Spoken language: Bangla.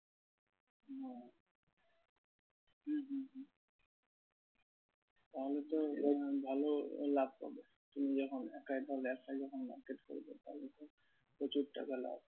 তাহলে তো ভালো আহ লাভ করবে। তুমি যখন একাই তাহলে একা যখন market করবে প্রচুর টাকা লাভ।